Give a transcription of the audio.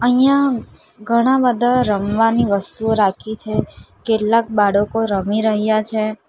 અહીંયા ઘણા બધા રમવાની વસ્તુઓ રાખી છે કેટલાક બાળકો રમી રહ્યા છે.